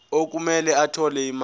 okumele athole imali